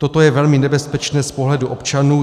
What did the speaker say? Toto je velmi nebezpečné z pohledu občanů.